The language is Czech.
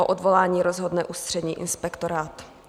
O odvolání rozhodne Ústřední inspektorát.